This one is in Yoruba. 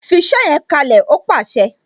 "Fi iṣẹ yẹn kalẹ "ó pàṣẹ